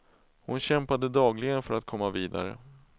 Hon kämpade dagligen för att komma vidare.